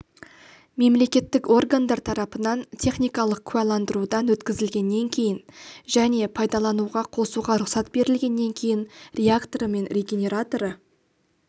мемлекеттік органдар тарапынан техникалық куәландырудан өткізілгеннен кейін және пайдалануға қосуға рұқсат берілгеннен кейін реакторы мен регенераторы